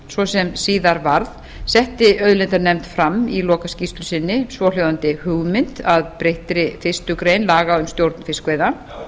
svo sem síðar varð setti auðlindanefnd fram í lokaskýrslu sinni svohljóðandi hugmynd að breyttri fyrstu grein laga um stjórn fiskveiða